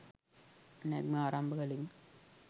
නැග්ම ආරම්භ කළෙමු.